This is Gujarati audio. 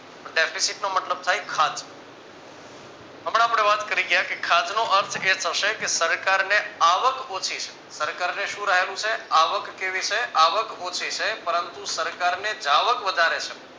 deficit નો મતલબ થાય ખાદ્ય હમણાં આપણે વાત કરી ગયા કે ખાદ્ય નો અર્થ એ થશે કે સરકારને આવક ઓછી છે સરકાર ને શું રહેલું છે આવક કેવી છે આવક ઓછી છે પરંતુ સરકારને જાવક વધારે છે.